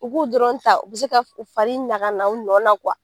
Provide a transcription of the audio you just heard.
U b'u dɔrɔn ta u be se ka farin ɲaga na u nɔ na